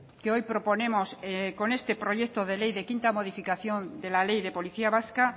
que hoy proponemos con este proyecto de ley de quinta modificación de la ley de policía vasca